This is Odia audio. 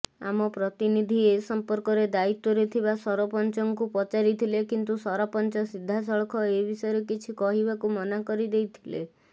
ଆମ ପ୍ରତିନିଧି ଏସମ୍ପର୍କରେ ଦାୟୀତ୍ୱ ରେ ଥିବା ସରପଞ୍ଚଙ୍କୁ ପଚାରିଥିଲେ କିନ୍ତୁ ସରପଚଂ ସିଧାସଳଖ ଏବିଷୟରେ କିଛି କହିବାକୁ ମନାକରିଦେଇଥିଲେ